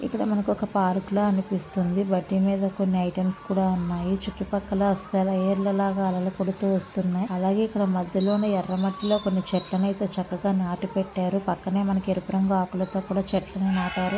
ఇక్కడ మనకు ఒక పార్క్ లా అనిపిస్తుంది. బట్ దీని మీద కొన్ని ఐటమ్స్ కూడా ఉన్నాయి. చుట్టూ పక్కల సెల ఏరుల అలలు పుడుతూ వస్తున్నై అలాగే ఇక్కడ మధ్యలోని ఎర్ర మట్టి లో కొన్ని చేట్లనైతే నాటి పెట్టారు పక్కనే ఎరుపు రంగు ఆకులతో కూడా చెట్లను నాటారు.